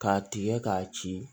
K'a tigɛ k'a ci